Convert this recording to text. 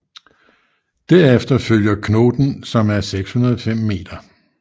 Derefter følger Knoten som er 605 m